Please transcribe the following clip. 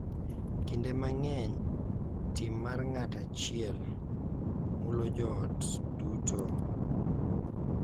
Kinde mang’eny, tim mar ng’at achiel mulo joot duto,